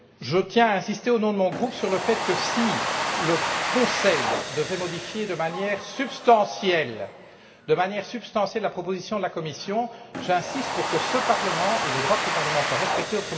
Je tiens à insister, au nom de mon groupe, sur le fait que si le Conseil devait modifier de manière substantielle la proposition de la Commission, j'insiste pour que ce Parlement et les droits de ce Parlement soient respectés.